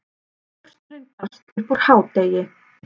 Pósturinn barst upp úr hádegi.